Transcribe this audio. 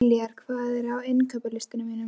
Diljar, hvað er á innkaupalistanum mínum?